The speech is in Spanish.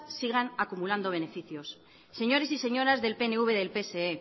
sigan acumulando beneficios señores y señoras del pnv y del pse